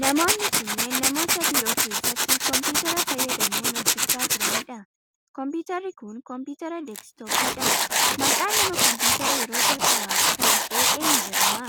Namoonni kunneen, namoota biiroo keessatti kompiitara fayyadamuun hojjachaa jiranii dha. Kompiitarri kun, kompiitara deeskitooppii dha. Maqaan Namna kompiitara yeroo jalqabaaf kalaqe eenyu jedhama?